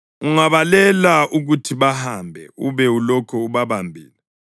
Ungabalela ukuthi bahambe ube ulokhu ubabambile